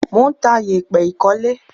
Mò ń ta yèpẹ̀ ìkólé.